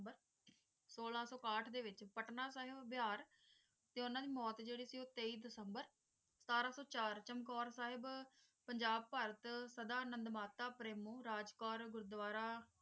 ਸੋਲਾਂ ਕੱਤਕ ਦੇ ਵਿਚ ਪਟਨਾ ਕੀਹ ਬਿਹਾਰ ਤੇ ਉਂਣਾਹ ਦੀ ਮੌਟ ਜੇਰੀ ਹੈ ਓ ਤੇਈ ਦਸੰਬਰ ਅਠਾਰਾਂ ਸੋ ਚਾਰ ਚਮਕੌਰ ਸਾਹਿਬ ਪੰਜਾਬ ਪਲਟ ਸਦਾ ਨੰਮਤਾ ਪ੍ਰੇਮਉ ਰਾਜ ਕੌਰ ਗੁਰਦਵਾਰਾ